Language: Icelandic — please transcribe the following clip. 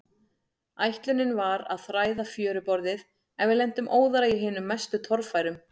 Ætlunin var að þræða fjöruborðið, en við lentum óðara í hinum mestu torfærum.